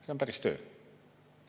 See on päris töö.